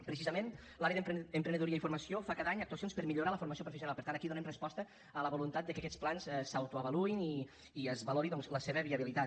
precisament l’àrea d’emprenedoria i formació fa cada any actuacions per millorar la formació professional per tant aquí donem resposta a la voluntat de que aquests plans s’autoavaluïn i es valori doncs la seva viabilitat